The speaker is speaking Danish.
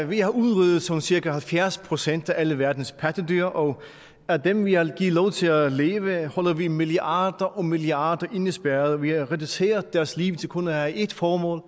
vi har udryddet sådan cirka halvfjerds procent af alle verdens pattedyr og af dem vi har givet lov til at leve holder vi milliarder og milliarder indespærret vi har reduceret deres liv til kun at have ét formål